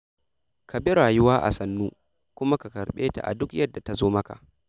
Kabi rayuwa a sannu, kuma ka karɓe ta a duk yadda ta zo maka.